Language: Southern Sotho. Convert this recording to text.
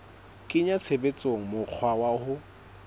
kenya tshebetsong mokgwa wa ho